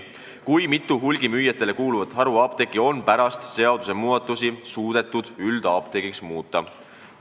Kui mitu hulgimüüjatele kuuluvat haruapteeki on pärast seadusmuudatusi suudetud üldapteegiks muuta?